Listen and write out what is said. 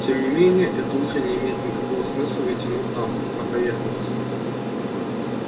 тем не менее это утро не имеет никакого смысла ведь оно там на поверхности